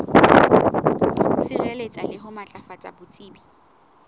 sireletsa le ho matlafatsa botsebi